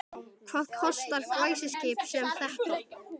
En hvað kostar glæsiskip sem þetta?